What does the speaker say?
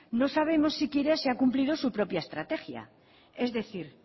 no sabemos siquiera si ha cumplido su propia estrategia es decir